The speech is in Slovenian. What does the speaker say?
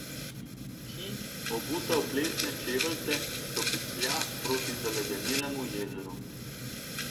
Ki, obuta v plesne čeveljce, stopiclja proti zaledenelemu jezeru.